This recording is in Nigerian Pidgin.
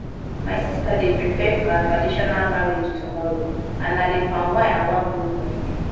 my sister dey prepare for her traditional marriage tomorrow and na the palm wine i wan go bring